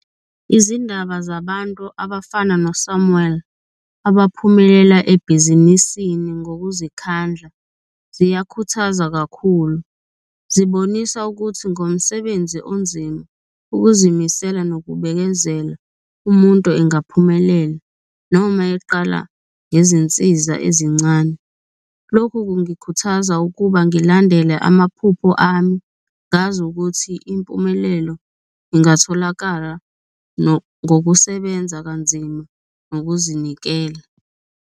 Izindaba zabantu abafana no-Samuel abaphumelela ebhizinisini ngokuzikhandla ziyakhuthaza kakhulu, zibonisa ukuthi ngomsebenzi onzima, ukuzimisela nokubekezela umuntu engaphumelela noma eqala ngezinsiza ezincane. Lokhu kungikhuthaza ukuba ngilandele amaphupho ami, ngazi ukuthi impumelelo ingatholakala ngokusebenza kanzima, ngokuzinikela.